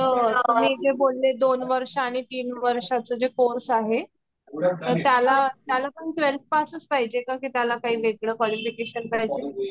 मी काय बोलते जे दोन वर्ष आणि तीन वर्षा चा जे कोर्स आहे त्याला पण ट्वेल्थ पास च पाहिजे का की त्याला काही वेगला क्वॉलिफ़िकेशन करायच?